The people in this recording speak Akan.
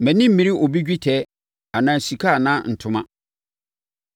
Mʼani ammere obi dwetɛ anaa sika anaa ntoma.